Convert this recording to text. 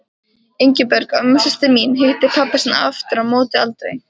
Ingibjörg, ömmusystir mín, hitti pabba sinn aftur á móti aldrei.